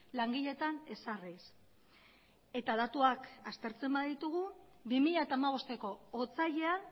langileetan ezarriz eta datuak aztertzen baditugu bi mila hamabosteko otsailean